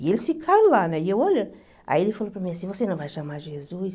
E eles ficaram lá, né e eu olhando, aí ele falou para mim assim, você não vai chamar Jesus?